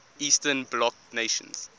eastern bloc nations